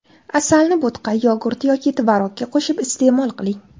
Asalni bo‘tqa, yogurt yoki tvorogga qo‘shib iste’mol qiling.